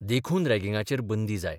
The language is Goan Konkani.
देखून रॅगिंगाचेर बंदी जाय.